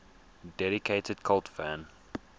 dedicated cult fan